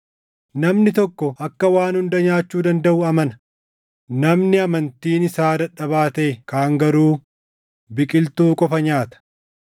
Namni tokko akka waan hunda nyaachuu dandaʼu amana; namni amantiin isaa dadhabaa taʼe kaan garuu biqiltuu qofa nyaata.